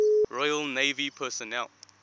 royal navy personnel